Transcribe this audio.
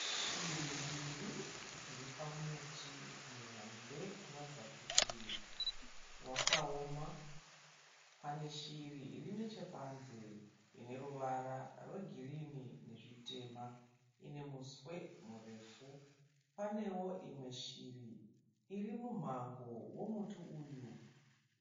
Shiri mbiri dziri pamuti muhombe unoratidza kuti wakaoma. Pane shiri iri nechepanze ine ruvara rwegirini nezvitema ine muswe murefu. Paneo imwe shiri irimumhango womuti uyu,